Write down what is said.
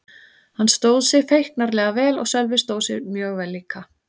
Hann stóð sig feiknarlega vel og Sölvi stóð sig mjög vel líka.